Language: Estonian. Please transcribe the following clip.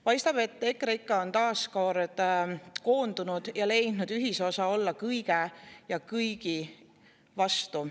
Paistab, et EKREIKE on taas kord koondunud ja leidnud ühisosa: olla kõige ja kõigi vastu.